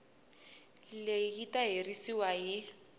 leyi yi ta herisiwa hi